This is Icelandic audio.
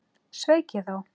Sveik ég þá?